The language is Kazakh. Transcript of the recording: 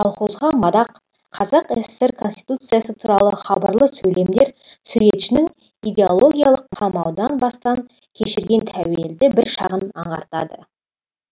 колхозға мадақ қазақ сср конституциясы туралы хабарлы сөйлемдер суретшінің идеологиялық қамаудан бастан кешірген тәуелді бір шағын аңғартады